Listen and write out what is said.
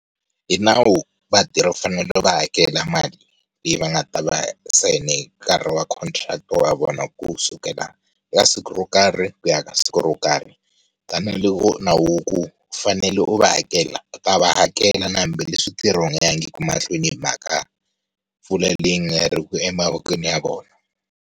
Hi nawu vatirhi u fanele u va hakela mali leyi va nga ta va ntsena hi nkarhi wa contract ya vona kusukela eka siku ro karhi ku ya ka siku ro karhi. Tanihiloko nawu u ku u fanele u va hakela u ta va hakela na hambileswi ntirho wu nga yangiku mahlweni hi mhaka mpfula leyi yi nga ri ku emavokweni ya vona.